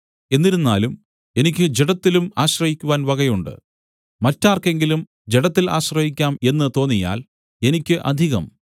എന്നിരുന്നാലും എനിക്ക് ജഡത്തിലും ആശ്രയിക്കുവാൻ വകയുണ്ട് മറ്റാർക്കെങ്കിലും ജഡത്തിൽ ആശ്രയിക്കാം എന്ന് തോന്നിയാൽ എനിക്ക് അധികം